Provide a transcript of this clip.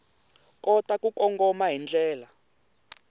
kota ku kongoma hi ndlela